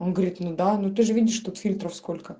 он говорит ну да ну ты же видишь тут фильтров сколько